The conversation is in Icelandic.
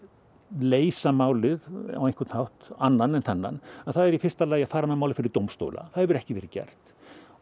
leysa málið á einhvern hátt annan en þennan það er í fyrsta lagi að fara með málið fyrir dómstóla það hefur ekki verið gert